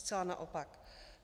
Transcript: Zcela naopak.